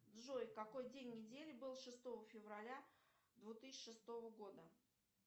джой какой день недели был шестого февраля две тысячи шестого года